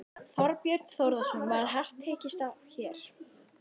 Þorbjörn Þórðarson: Var hart tekist á hér?